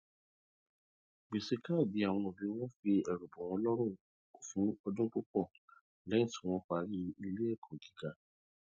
gbèsè kádì àwọn òbí wọn fi ẹrù bọ wọn lórùn fún ọdún púpò lẹyìn tí wọn parí ẹkọ iléẹkọ gíga